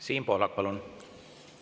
Siim Pohlak, palun!